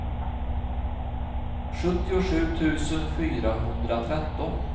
sjuttiosju tusen fyrahundratretton